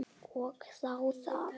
Og þá það.